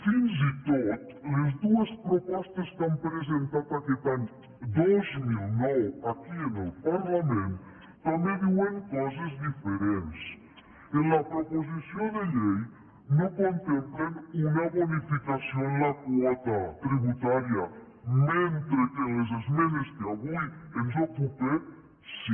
fins i tot les dues propostes que han presentat aquest any dos mil nou aquí en el parlament també diuen coses diferents en la proposició de llei no contemplen una bonificació en la quota tributària mentre que en les esmenes que avui ens ocupen sí